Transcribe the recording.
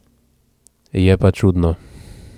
Je pa čudno.